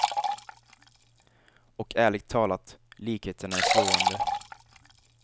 Och ärligt talat, likheten är slående.